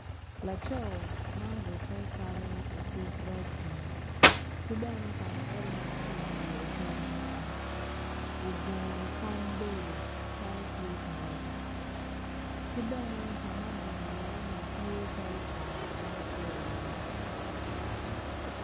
Laco ma orukke calo otuk ragbi ki bene okwanyo elmet ki i wiye ogungu i kom bedo calo tye ka lega ki bene ka ma ogungu iye ni tye calo bar ka ma kituko iye.